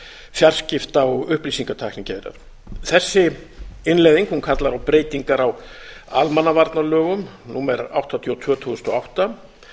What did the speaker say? fjarskipta og upplýsingatæknigeirar þessi innleiðing kallar á breytingar á almannavarnalögum númer áttatíu og tvö tvö þúsund og átta